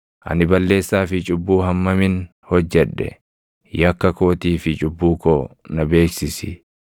Ani balleessaa fi cubbuu hammamin hojjedhe? Yakka kootii fi cubbuu koo na beeksisi.